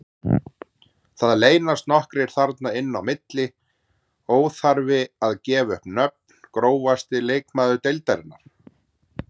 Það leynast nokkrir þarna inn á milli, óþarfi að gefa upp nöfn Grófasti leikmaður deildarinnar?